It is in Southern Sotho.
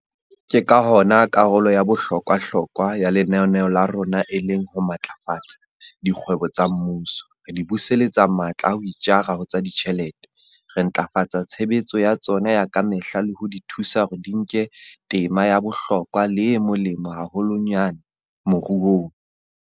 Ke ka hona karolo ya bohlokwa-hlokwa ya lenaneo la rona e leng ho matlafatsa dikgwebo tsa mmuso, re di buseletsa matla a ho itjara ho tsa ditjhelete, re ntlafatsa tshebetso ya tsona ya ka mehla le ho di thusa hore di nke tema ya bohlokwa le e molemo haholwanyane moruong.